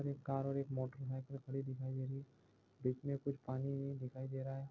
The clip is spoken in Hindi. एक कार और एक मोटर दिखाई दे रही है बीच मे कुछ पानी दिखाई दे रहा है।